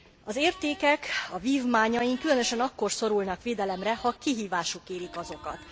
Az értékek, a vívmányaink különösen akkor szorulnak védelemre, ha kihívások érik azokat.